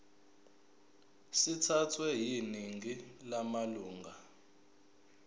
sithathwe yiningi lamalunga